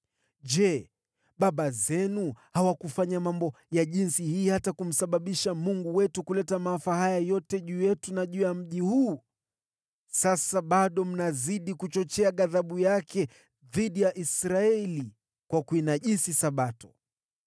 Je, baba zenu hawakufanya mambo kama haya, hata wakamsababisha Mungu wetu kuleta maafa haya yote juu yetu na juu ya mji huu? Sasa bado mnazidi kuchochea ghadhabu yake dhidi ya Israeli kwa kuinajisi Sabato.”